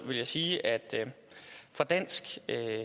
vil jeg sige at vi fra dansk